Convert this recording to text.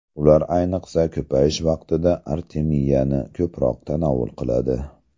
Ular ayniqsa, ko‘payish vaqtida artemiyani ko‘proq tanovul qiladi.